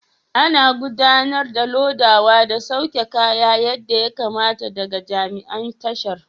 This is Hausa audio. Ana gudanar da lodawa da sauke kaya yadda ya kamata daga jami'an tashar.